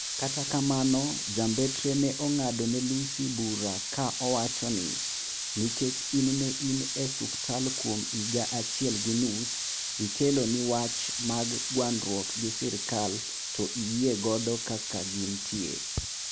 kata kamano ja mbetre ne ong'ado ne Lussi bura ka owacho ni: nikech in ne in e suptal kuom higa achiel gi nus ikelo ni wach mag gwandruok gi serikal to iyie godo kaka gin ntie